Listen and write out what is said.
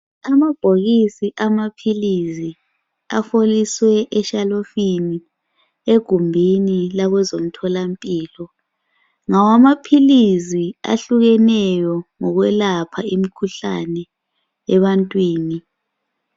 Amabhokisi amaphilizi aheliswe eshelufini egumbini labezomtholampilo. Lawo amaphilizi ayehleneyo okuyelapha imikhuhlane ebantwini.